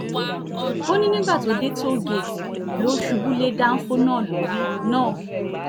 ó ní nígbà tó dé tóò-géètì ló ṣubú lé dánfọ náà lórí náà lórí